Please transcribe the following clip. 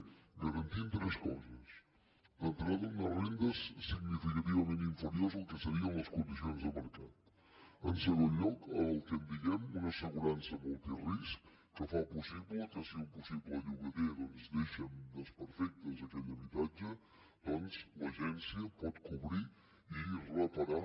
i s’han garantit tres coses d’entrada unes rendes significativament inferiors al que serien les condicions de mercat en segon lloc el que en diem una assegurança multirisc que fa possible que si un possible llogater deixa desperfectes a aquell habitatge doncs l’agència pugui cobrir i reparar